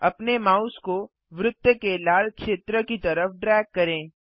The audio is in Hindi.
अपने माउस को वृत्त के लाल क्षेत्र की तरफ ड्रैग करें